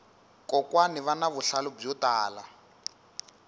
kokwani vana vuhlalu byo tala